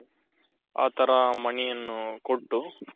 ಆ ತರ money ಯನ್ನು ಕೊಟ್ಟು.